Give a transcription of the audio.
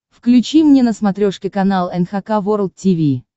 включи мне на смотрешке канал эн эйч кей волд ти ви